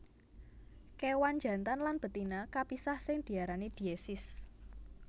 Kéwan jantan lan betina kapisah sing diarani diesis